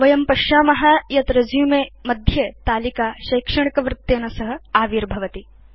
वयं पश्याम यत् रेसुमे मध्ये तालिका शैक्षणिकवृत्तेन सह आविर्भवति